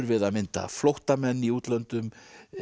við að mynda flóttamenn í útlöndum